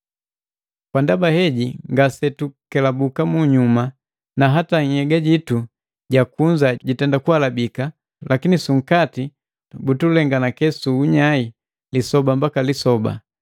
Kwa ndaba heji ngasetukelabuka munyuma, na hata nhyega jitu ja kunza jitenda kuhalabika, lakini su nkati butulenganake su unyai lisoba mbaka lisoba.